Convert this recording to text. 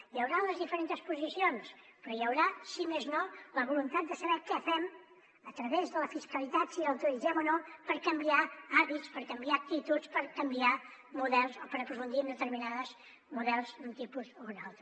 hi hauran les diferents posicions però hi haurà si més no la voluntat de saber què fem a través de la fiscalitat si la utilitzem o no per canviar hàbits per canviar actituds per canviar models o per aprofundir en determinats models d’un tipus o un altre